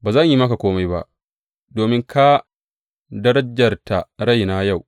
Ba zan yi maka kome ba, domin ka darajarta raina yau.